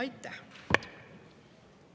Aitäh!